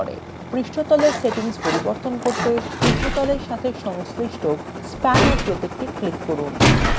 পৃষ্ঠতলের সেটিংস পরিবর্তন করতে: পৃষ্ঠতলের সাথে সংশ্লিষ্ট spanner প্রতীকটি click করুন